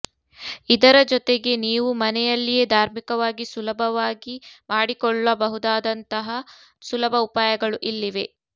ಇದರ ಜೊತೆಗೆ ನೀವು ಮನೆಯಲ್ಲಿಯೇ ಧಾರ್ಮಿಕವಾಗಿ ಸುಲಭವಾಗಿ ಮಾಡಿಕೊಳ್ಳ ಬಹುದಾದಂತಹ ಸುಲಭ ಉಪಾಯಗಳು ಇಲ್ಲಿವೆ